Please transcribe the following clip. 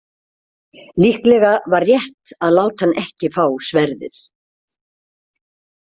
Líklega var rétt að láta hann ekki fá sverðið.